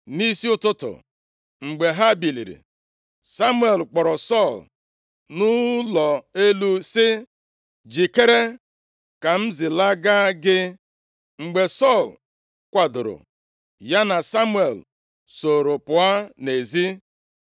Nʼisi ụtụtụ mgbe ha biliri, Samuel kpọrọ Sọl nʼụlọ elu sị, “Jikere, ka m zilaga gị.” Mgbe Sọl kwadoro, ya na Samuel sooro pụọ nʼezi.